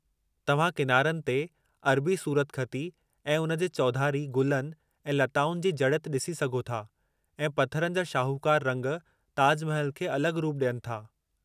तव्हां किनारनि ते अरबी सूरतख़ती ऐं उन जे चौधारी गुलनि ऐं लताउनि जी जड़ित ॾिसी सघो था, ऐं पथरनि जा शाहूकार रंग ताज महल खे अलगि॒ रूप ॾिए थो।